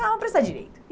Ah, vamos prestar Direito.